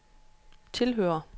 tilhører